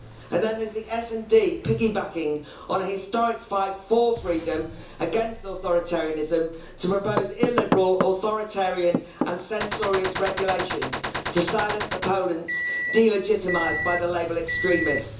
Then there's the SD piggy backing on a historic fight for freedom against authoritarianism, to propose illiberal, authoritarian and censorious regulations to silence opponents and delegitimise them with the label extremist'.